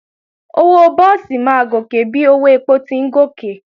Owó búùsì máa gòkè bí owó èpò ti ń gòkè